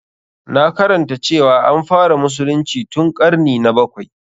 Na karanta cewa an fara musulunci tun ƙarni na bakwai.